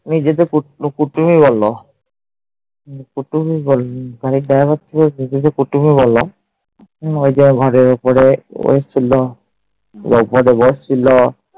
নিজেদের কুটুমই বলল। কুটুমই বলল। গাড়ির driver টা তো নিজেদের কুটুমই বলল। ওই যে ঘরে ওপরে এসছিল। ওপরে বসছিল।